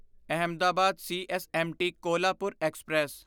Ahmedabad CSMT Kolhapur express